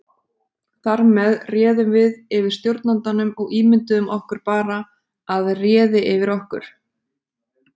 Þar með réðum við yfir stjórnandanum og ímynduðum okkur bara að réði yfir okkur.